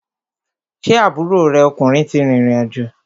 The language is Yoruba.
Ṣé aburo rẹ ọkùnrin ti rìrìn àjò?